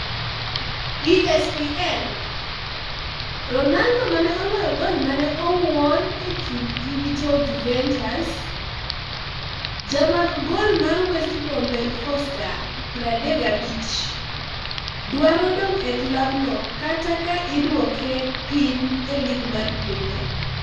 (ESPN) Ronaldo mane oloyo gol mane owuor e kindgi gi jo Juventus. Ja mak gol mar West Brom Ben Foster, 35, dwaro dong' e klab no kata ka idwoke piny e lig mar premia.